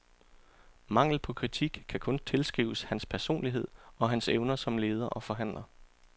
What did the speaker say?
Manglen på kritik kan kun tilskrives hans personlighed og hans evner som leder og forhandler.